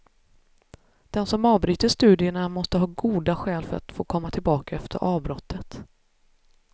Den som avbryter studierna måste ha goda skäl för att få komma tillbaka efter avbrottet.